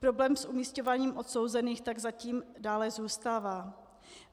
Problém s umisťováním odsouzených tak zatím dále zůstává.